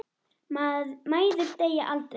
Mæður deyja aldrei.